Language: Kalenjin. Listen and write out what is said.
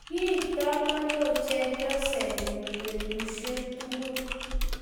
Kie tamano chepyosenyu petushek chotok